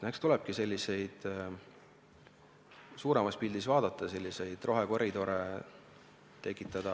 Eks tulebki suuremat pilti vaadata, selliseid rohekoridore tekitada.